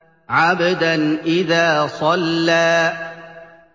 عَبْدًا إِذَا صَلَّىٰ